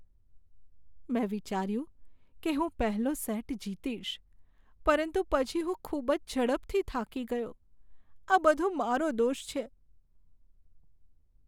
મેં વિચાર્યું કે હું પહેલો સેટ જીતીશ, પરંતુ પછી હું ખૂબ જ ઝડપથી થાકી ગયો. આ બધો મારો દોષ છે.